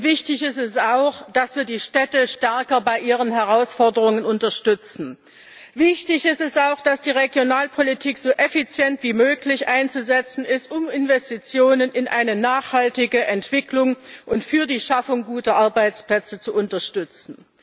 Wichtig ist auch, dass wir die Städte stärker bei ihren Herausforderungen unterstützen. Wichtig ist auch, dass die Regionalpolitik so effizient wie möglich einzusetzen ist, um Investitionen in eine nachhaltige Entwicklung und für die Schaffung guter Arbeitsplätze zu unterstützen.